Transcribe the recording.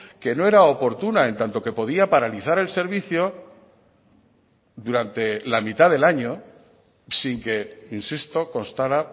que no era oportuna en tanto que podía paralizar el servicio durante la mitad del año sin que insisto constara